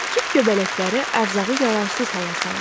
Kif göbələkləri ərzağı yararsız hala salır.